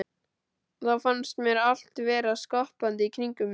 Og þá fannst mér allt vera skoppandi í kringum mig.